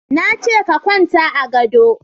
Na ce ka kwanta a gado